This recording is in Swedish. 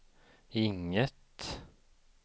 inget